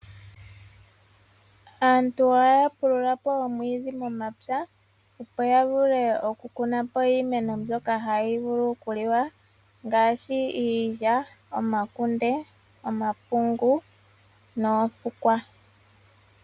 Aantu ohaya pulula po omwiidhi momapya, opo yavule okukunapo iimeno mbyono hayi vulu okuliwa, ngaashi iilya, omakunde, omapungu, noofukwa.